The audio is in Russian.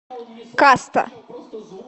каста